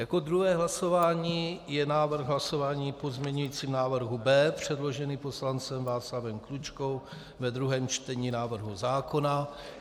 Jako druhé hlasování je návrh hlasování o pozměňujícím návrhu B předložený poslancem Václavem Klučkou ve druhém čtení návrhu zákona.